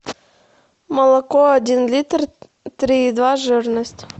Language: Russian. молоко один литр три и два жирность